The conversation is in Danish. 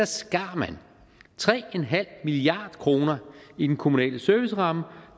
skar man tre en halv milliard kroner i den kommunale serviceramme og